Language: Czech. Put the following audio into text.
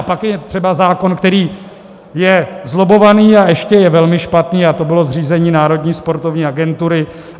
A pak je třeba zákon, který je zlobbovaný, a ještě je velmi špatný, a to bylo zřízení Národní sportovní agentury.